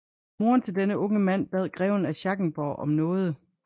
Moderen til denne unge mand bad greven af Schackenborg om nåde